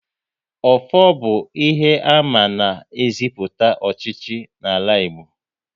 Ọfọ bụ ihe àmà na eziputa ọchịchị n'ala Igbo